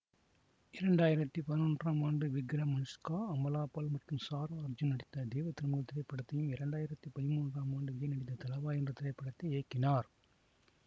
இரண்டாயிரத்தி பதினொன்றாம் ஆண்டு விக்ரம் அனுஷ்கா அமலா பால் மற்றும் சாரா அர்ஜுன் நடித்த தெய்வத்திருமகள் திரைப்படத்தையும் இரண்டாயிரத்தி பதிமூன்றாம் ஆண்டு விஜய் நடித்த தலைவா என்ற திரைப்படத்தை இயக்கினார்